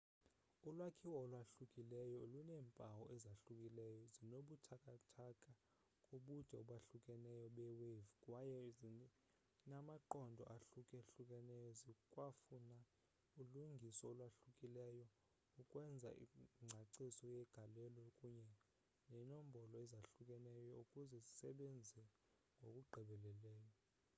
ulwakhiwo olwahlukileyo luneempawu ezahlukileyo zinobuthathaka kubude obahlukeneyo be-wave kwaye zinamaqondo ahluka-hlukeneyo zikwafuna ulungiso olwahlukileyo ukwenza ingcaciso yegalelo kunye neenombolo ezahlukeneyo ukuze zisebenze ngokugqibeleleyo